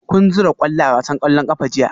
Kun zura kwallo a wasan kwallon kafa jiya?